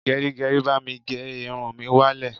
Gẹrígẹrí, bá mi gé irun mi wá lẹ̀.